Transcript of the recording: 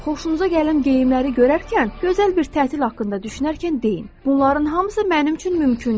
Xoşunuza gələn geyimləri görərkən, gözəl bir tətil haqqında düşünərkən deyin: bunların hamısı mənim üçün mümkündür.